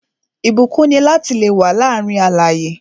Ìbúkún ni lati le wà láàárín alààyè